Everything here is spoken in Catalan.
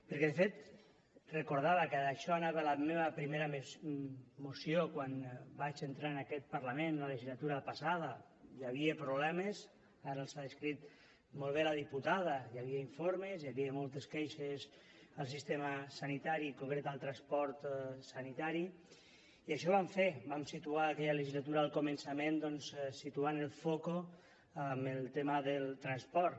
perquè de fet recordava que d’això anava la meva primera moció quan vaig entrar en aquest parlament en la legislatura passada hi havia problemes ara els ha descrit molt bé la diputada hi havia informes hi havia moltes queixes al sistema sanitari en concret al transport sanitari i això vam fer vam situar en aquella legislatura al començament doncs situant el focus en el tema del transport